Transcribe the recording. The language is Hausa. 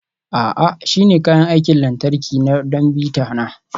A'a, shi ne kayan aikin lantarki na don bita na.